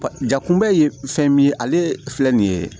Jakunbɛ ye fɛn min ye ale filɛ nin ye